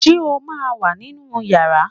Ṣé o ma wà ní inú yàrá